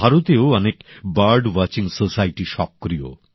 ভারতেও অনেক bird watching society সক্রিয়